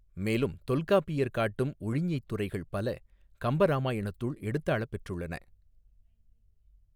மேலும் தொல்காப்பியர் காட்டும் உழிஞைத் துறைகள் பல கம்பராமாயணத்துள் எடுத்தாளப்பெற்றுள்ளன.